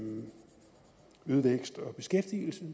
vækst og beskæftigelse